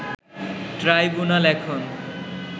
tribunal এখন